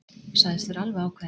Sagðist vera alveg ákveðinn.